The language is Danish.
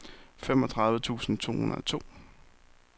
femogtredive tusind to hundrede og to